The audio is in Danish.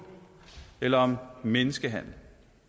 eller menneskehandel